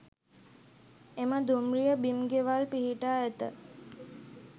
එම දුම්රිය බිම් ගෙවල් පිහිටා ඇත